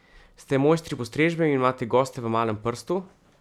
Ste mojstri postrežbe in imate goste v malem prstu?